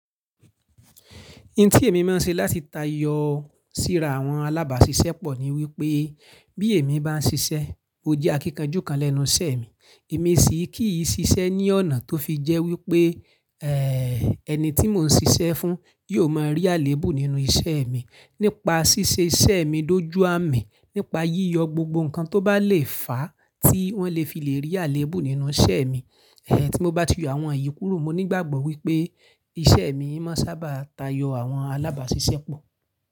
Ohun tí èmi máa ń ṣe láti tayọ síra àwọn alábàáṣiṣẹ́ pọ̀ ní wípé bí èmi bá ń ṣiṣẹ́, mo jẹ́ akíkanjú kan lẹ́nu iṣẹ́ mi. Èmi sì kì í ṣiṣẹ́ ní ọ̀nà tó fi jẹ́ wípé ẹ́ ẹni tí mò ń ṣiṣẹ́ fún yóò máa rí àléébù nínú iṣẹ́ mi. Nípa ṣíṣe iṣẹ́ mi dójú àmì, nípa yíyọ gbogbo nǹkan tó bá le fàá tí wọ́n lè fi lè rí àléébù nínú iṣẹ́ mi. Ẹ̀hẹ̀ tí mo bá ti yọ àwọn èyí kúrò, mo nígbàgbọ́ wípé iṣẹ́ mi máa sábà tayọ àwọn alábáàṣiṣẹ́ pọ̀.